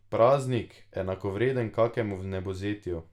Praznik, enakovreden kakemu vnebovzetju.